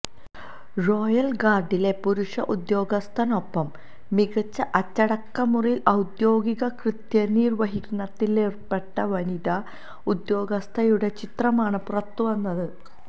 royal ഗാർഡിലെ പുരുഷ ഉദ്യോഗസ്ഥനൊപ്പം മികച്ച അച്ചടക്ക മുറയിൽ ഔദ്യോഗിക കൃത്യനിർവഹണത്തിലേർപ്പെട്ട വനിതാ ഉദ്യോഗസ്ഥയുടെ ചിത്രമാണ് പുറത്തുവന്നത്